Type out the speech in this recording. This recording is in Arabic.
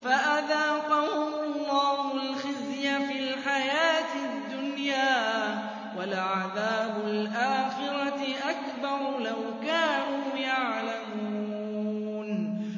فَأَذَاقَهُمُ اللَّهُ الْخِزْيَ فِي الْحَيَاةِ الدُّنْيَا ۖ وَلَعَذَابُ الْآخِرَةِ أَكْبَرُ ۚ لَوْ كَانُوا يَعْلَمُونَ